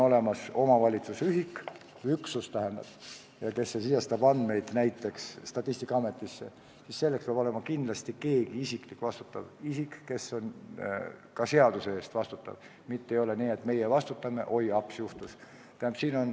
Ma arvan, et kui omavalitsus edastab andmeid näiteks Statistikaametisse, siis selleks peab olema kindlasti keegi vastutav isik, kes on ka seaduse ees vastutav, mitte ei ole nii, et meie vastutame, aga oi, aps juhtus.